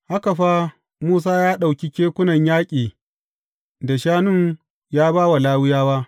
Haka fa Musa ya ɗauki kekunan yaƙi da shanun ya ba wa Lawiyawa.